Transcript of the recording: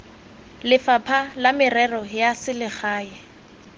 lefapha la merero ya selegae